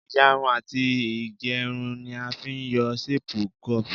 Ìyarun àti ìgbẹrun ni a fi ń yọ séèpù quiff